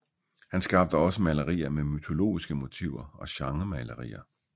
Han skabte også malerier med mytologiske motiver og genremalerier